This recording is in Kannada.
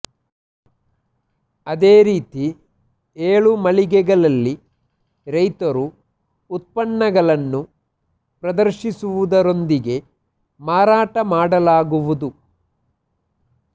ಅದೇ ರೀತಿ ಏಳು ಮಳಿಗೆಗಳಲ್ಲಿ ರೈತರು ಉತ್ಪನ್ನಗಳನ್ನು ಪ್ರದರ್ಶಿಸುವುದರೊಂದಿಗೆ ಮಾರಾಟ ಮಾಡಲಾಗುವುದು